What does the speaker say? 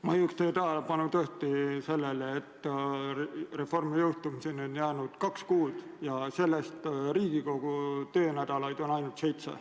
Ma juhiks teie tähelepanu sellele, et reformi jõustumiseni on jäänud kaks kuud ja sellest Riigikogu töönädalaid on ainult seitse.